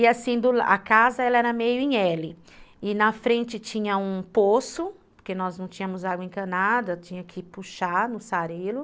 E assim, do la, a casa era meio em elle, e na frente tinha um poço, porque nós não tínhamos água encanada, tinha que puxar no sarelo.